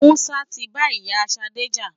Musa ti ba ìyá Ṣadé jà.